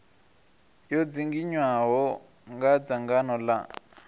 yo dzinginywaho nga dzangano la